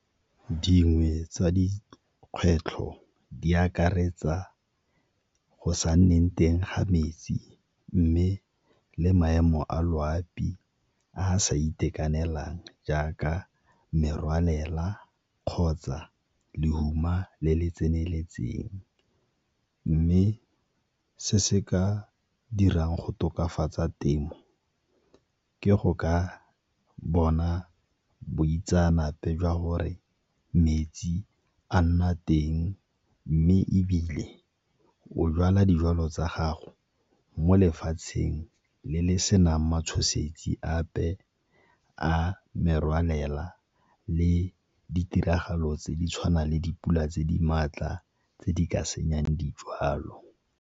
Dingwe tsa dikgwetlho di akaretsa go sa nneng teng ga metsi, mme le maemo a loapi a a sa itekanelang jaaka merwalela kgotsa lehuma le le tseneletseng. Mme se se ka dirang go tokafatsa temo ke go ka bona boitseanape jwa gore metsi a nna teng, mme ebile o jwala dijwalo tsa gago mo lefatsheng le le senang matshosetsi ape a merwalela le ditiragalo tse di tshwanang le dipula tse di maatla tse di ka senyang dijwalo.